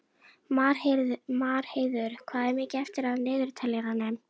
Marheiður, hvað er mikið eftir af niðurteljaranum?